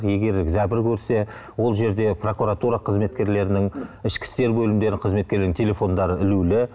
егер зәбір көрсе ол жерде прокуратура қызметкерлерінің ішкі істер бөлімдері қызметкерлерінің телефондары ілулі